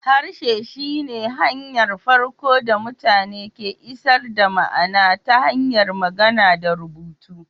Harshe shi ne hanyar farko da mutane ke isar da ma'ana ta hanyar magana da rubutu